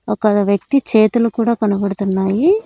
ఒక వ్యక్తి చేతులు కూడా కనపడుతున్నాయి.